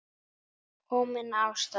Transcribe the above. Kominn af stað.